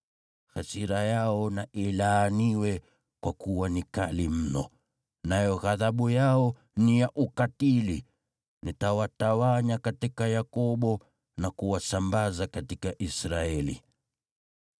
Hasira yao na ilaaniwe, kwa kuwa ni kali mno, nayo ghadhabu yao ni ya ukatili! Nitawatawanya katika Yakobo Na kuwasambaza katika Israeli.